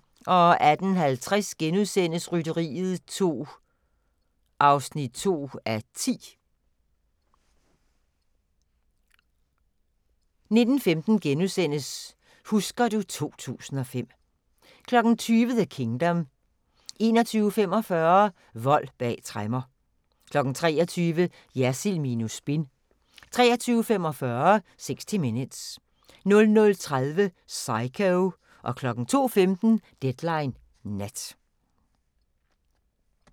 18:50: Rytteriet 2 (2:10)* 19:15: Husker du ... 2005 * 20:00: The Kingdom 21:45: Vold bag tremmer 23:00: Jersild minus spin 23:45: 60 Minutes 00:30: Psycho 02:15: Deadline Nat